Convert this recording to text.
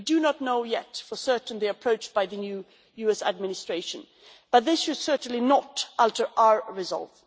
We do not know yet for certain the approach by the new US administration, but this should certainly not alter our results.